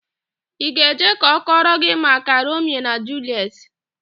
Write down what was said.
Ị ga-eje ka ọ kọrọ gị maka Romio na Juliet?